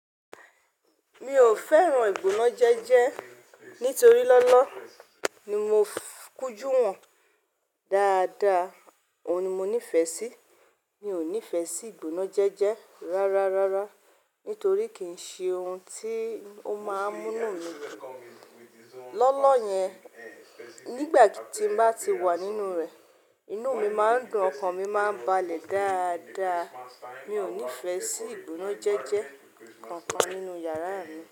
Mi ò fẹ́ràn ìgbónájẹ́jẹ́ nítorí lọ́lọ́ ni mo kújú wọ̀n dáadáa, òun ni mo nífẹ̀ẹ́ sí. Mi ò nífẹ̀ẹ́ sí ìgbónájẹ́jẹ́ rárá rárá nítorí kì í ṣe ohun tí ó máa ń múnu mi dun. Lọ́lọ́ yẹn, nígbà tí mo bá ti wà nínú rẹ̀, inú mi máa ń dùn, ọkàn mi máa ń balẹ̀ dáadáa. Mi ò nífẹ̀ẹ́ sí ìgbónájẹ́jẹ́ kankan nínú yàrá mi.